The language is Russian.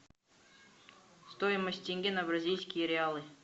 стоимость тенге на бразильские реалы